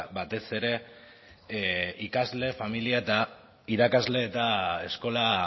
batez ere ikasle familia eta irakasle eta eskola